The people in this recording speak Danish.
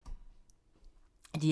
DR2